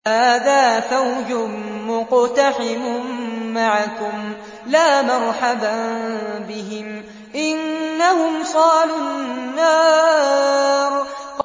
هَٰذَا فَوْجٌ مُّقْتَحِمٌ مَّعَكُمْ ۖ لَا مَرْحَبًا بِهِمْ ۚ إِنَّهُمْ صَالُو النَّارِ